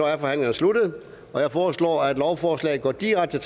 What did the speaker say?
er forhandlingen sluttet jeg foreslår at lovforslaget går direkte